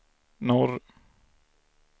norr